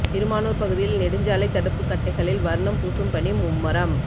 திருமானூர் பகுதியில் நெடுஞ்சாலை தடுப்பு கட்டைகளில் வர்ணம் பூசும் பணி மும்முரம்